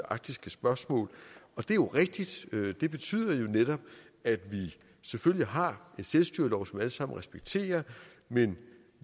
arktiske spørgsmål det er jo rigtigt det betyder netop at vi selvfølgelig har en selvstyrelov som vi alle sammen respekterer men